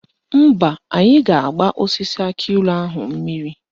Mba, anyị ga-agba osisi akịilụ ahụ mmiri